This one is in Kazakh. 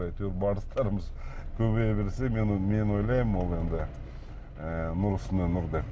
әйтеуір барыстарымыз көбейе берсе мен ойлаймын ол енді ы нұр үстіне нұр деп